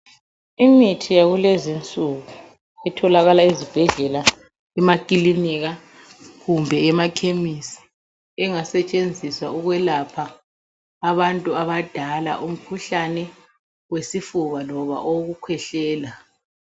Imithi yakulezinsuku itholakala ezibhedlela, emakilinika kumbe emakhemisi engasetshenziswa ukwelapha abantu abadala, umkhuhlane wesifuba loba owokukhwehlela.